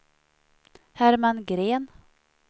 Herman Gren